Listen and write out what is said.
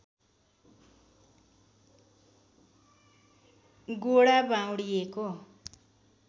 गोडा बाउँडिएको